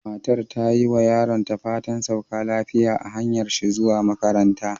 Matar ta yi ma yaronta fatan "sauka lafiya" a hanyar shi zuwa makaranta.